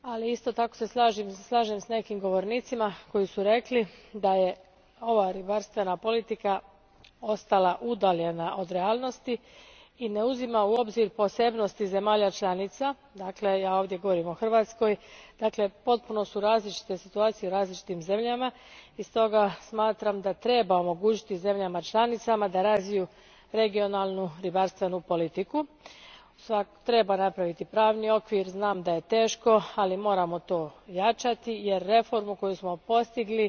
Isto se tako slažem s nekim govornicima koji su rekli da je ova ribarstvena politika ostala udaljena od realnosti i da ne uzima u obzir posebnosti zemalja članica, dakle ja ovdje govorim o Hrvatskoj, dakle potpuno su različite situacije u različitim zemljama i stoga smatram da treba omogućiti zemljama članicama da razviju regionalnu ribarstvenu politiku. Treba napraviti pravni okvir, znam da je to teško, ali moramo to ojačati jer bi zaista bilo šteta iz ruku ispustiti reformu koju samo postigli